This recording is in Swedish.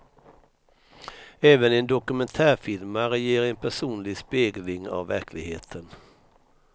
Även en dokumentärfilmare ger en personlig spegling av verkligheten.